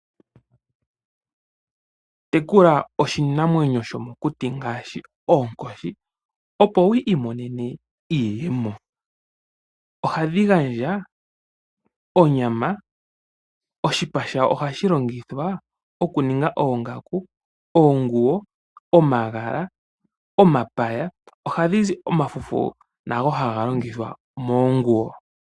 Tekula iinamwenyo yomokuti ngaashi oonkoshi opo wu imonene iiyemo. Ohadhi gandja onyama, iipa yadho ohayi longithwa okuninga oongaku, oonguwo, omagala, go omafufu gadho ohaga longithwa oku ninga oonguwo.